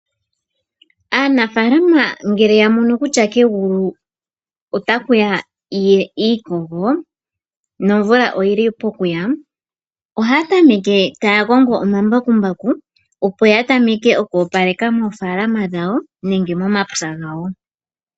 Aanafaalama ngele ya mono kutya kegulu otakuya iikogo nomvula oyili pokuya, ohaya tameke taya kongo omambakumbaku opo ya tameke okwoopaleka moofaalama dhawo nenge momapya gawo.